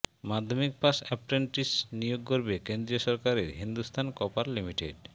মাধ্যমিক পাশ অ্যাপ্রেন্টিস নিয়োগ করবে কেন্দ্রীয় সরকারের হিন্দুস্থান কপার লিমিটেড